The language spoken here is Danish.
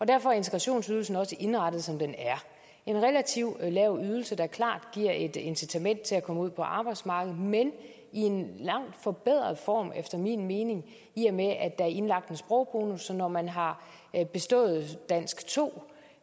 derfor er integrationsydelsen også indrettet som den er en relativt lav ydelse der klart giver et incitament til at komme ud på arbejdsmarkedet men i en langt forbedret form efter min mening i og med at der er indlagt en sprogbonus sådan at når man har bestået dansk to